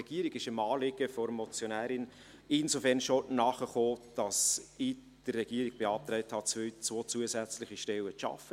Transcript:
Die Regierung ist dem Anliegen der Motionärin insofern schon nachgekommen, als ich der Regierung beantragt habe, zwei zusätzliche Stellen zu schaffen.